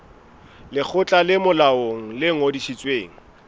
lekgotla le molaong le ngodisitsweng